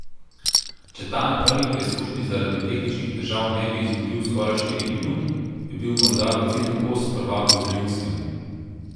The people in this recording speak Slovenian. Če ta na prvi preizkušnji zaradi tehničnih težav ne bi izgubil skoraj štirih minut, bi bil morda v cilju kos prvaku Zrinskemu.